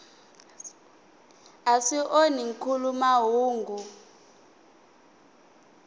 a swi onhi nkhuluk mahungu